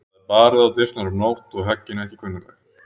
Það er barið á dyrnar um nótt og höggin ekki kunnugleg.